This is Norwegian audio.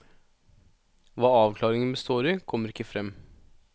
Hva avklaringen består i, kommer ikke frem.